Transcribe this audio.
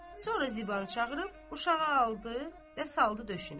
Sonra Zibanı çağırıb uşağı aldı və saldı döşünə.